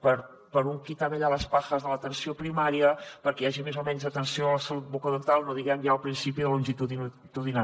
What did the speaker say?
per un quítame allá las pajas de l’atenció primària perquè hi hagi més o menys atenció a la salut bucodental no diguem ja el principi de longitudinalitat